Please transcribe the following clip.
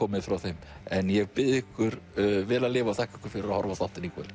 komið frá þeim en ég bið ykkur vel að lifa og þakka ykkur fyrir að horfa á þáttinn í kvöld